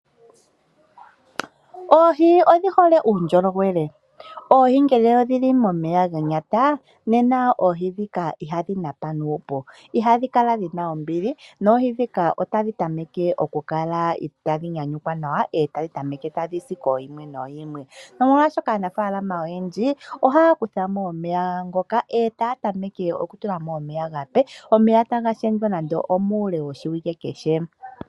Oohi odhi hole uundjolowele, nena ngele oohi odhili momeya ganyata nena oohi dhika ohadhi napa nuupu, ihadhi kala dhina ombili, noohi dhika otadhi tameke itaashi nyanyukwa, e tadhi tameke tadhi si kooyimwe nooyimwe, nomolwaasho aanafaalama oyendji ohaya kutha mo omeya ngoka, e taya tameke oku tula ko omeya omape, e taga shendjwa nande omuule woshiwike kehe.